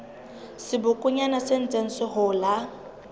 sebokonyana se ntseng se hola